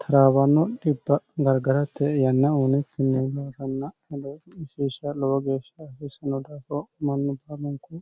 taraabanno dhibba gargaratte yanna uunekkinni baaranna heleisisha lowo geeshsha asisano daato mannu baalunku